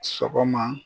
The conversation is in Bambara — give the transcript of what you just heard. Sɔgɔma